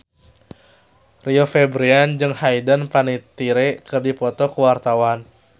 Rio Febrian jeung Hayden Panettiere keur dipoto ku wartawan